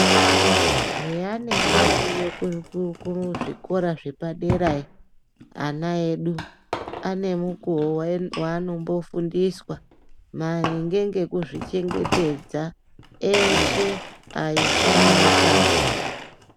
Eya anenge ariyo kuzvikora zvepadera yo, ana edu anemukuwo waanombofundiswa maringe ngekuzvichengetedza eshe aisa ngeakadzi.